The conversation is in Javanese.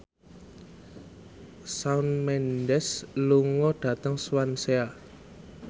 Shawn Mendes lunga dhateng Swansea